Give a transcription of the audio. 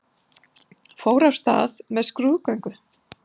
Fór af stað með skrúðgöngum